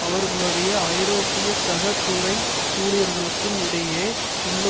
அவர்களுடைய ஐரோப்பிய சக துறை ஊழியர்களுக்கும் இடையே உள்ள